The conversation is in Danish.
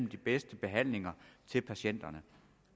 de bedste behandlinger til patienterne